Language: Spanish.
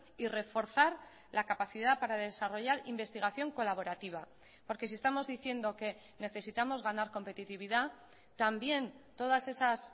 y reforzar la capacidad para desarrollar investigación colaborativa porque si estamos diciendo que necesitamos ganar competitividad también todas esas